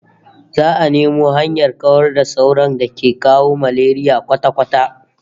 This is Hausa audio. Za'a nemo hanyar kawar da sauron da ke kawo malaria kwata-kwata